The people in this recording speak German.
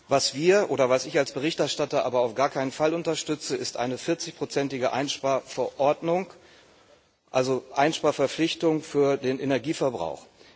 Was wir oder was ich als Berichterstatter aber auf gar keinen Fall unterstützen, ist eine 40 prozentige Einsparverordnung, also Einsparverpflichtungen für den Energieverbrauch.